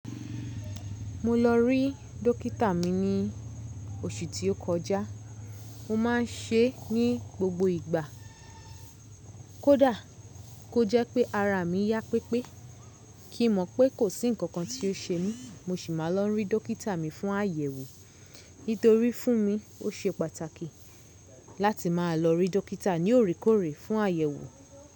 Mo lọ rí dókítà mi ní oṣù tí ó kọjá. Mo má n ṣe é ní gbogbo ìgbà kódà kó jẹ́ pé ara mi yá pépé kí mọ̀ pé kò sí ǹkankan tí ó ṣe mí, mo sì máa lọ rí dókítà mi fún àyẹ̀wò. Nítorí fún mi, ó ṣe pàtàkì láti máa lọ rí dókítà ní òrekòrè fún àyẹ̀wò.